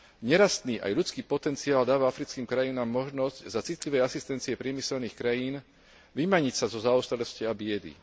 Nerastný aj ľudský potenciál dáva africkým krajinám možnosť za citlivej asistencie priemyselných krajín vymaniť sa zo zaostalosti a biedy.